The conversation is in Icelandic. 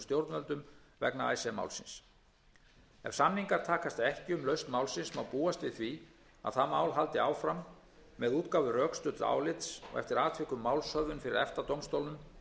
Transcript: stjórnvöldum vegna málsins ef samningar takast ekki um lausn málsins má búast við að það mál haldi áfram með útgáfu rökstudds álits og eftir atvikum málshöfðun fyrir efta dómstólnum